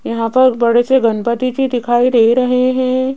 यहां पर बड़े से गणपति जी दिखाई दे रहे है।